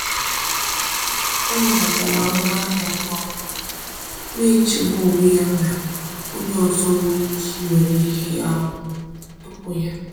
Ọ nabatara ọnụ ahịa ngwa ngwa, na-echegbu onwe ya na onye ọzọ nwere ike iwere ihe ahụ tupu ya.